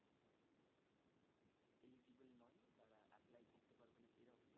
eligible নয় তারা apply করতে পারবেনা এরম